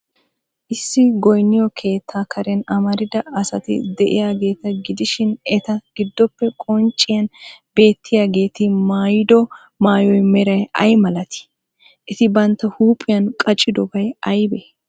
Issi goynniyo keettaa Karen amarida asati de'iyaageeta gidishin, eta giddoppe qoncciyan beettiyaagti maayido maayuwa meray ay malatii? Eti bantta huuphiyan qacidobay aybee?